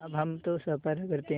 अब हम तो सफ़र करते हैं